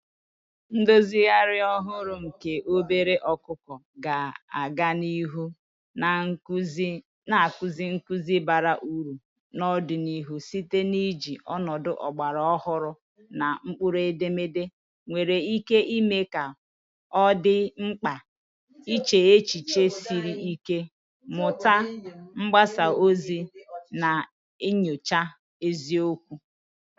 Ndozigharị ọhụrụ nke obere ọkụkọ ga-aga n'ihu na-akụzi nkuzi bara uru n'ọdịnihu site n'iji ọnọdụ ọgbara ọhụrụ na mkpụrụedemede nwere ike ime ka ọ dị mkpa iche echiche siri ike, mmuta mgbasa ozi, na nyocha eziokwu.